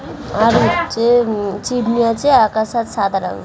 আর হচ্ছে হু চিমনি আছে আকাশ আর সাদা রঙ --